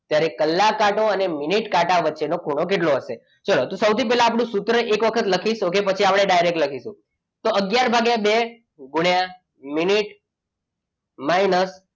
ત્યારે કલાક કાંટો અને મિનિટ કાંટા વચ્ચેનો ખૂણો કેટલો હશે? ચલો તો સૌથી પહેલા આપણે સૂત્ર એક વખત લખીશું પછી આપણે ડાયરેક્ટ લખી નાખીશું તો અગિયાર ભાગ્યા બે ગુણ્યા મિનિટ minus,